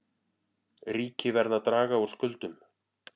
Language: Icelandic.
Ríki verða að draga úr skuldum